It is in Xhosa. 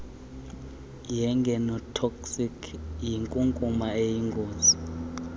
yegenotoxic yinkunkuma eyingozi